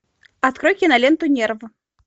открой киноленту нерв